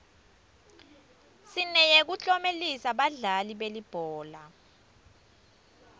sineyekuklomelisa badlali belibhola